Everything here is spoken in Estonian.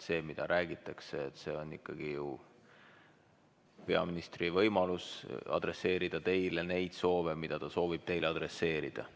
See, mida peaminister räägib, on ikkagi ju tema võimalus adresseerida teile neid, mida ta soovib teile adresseerida.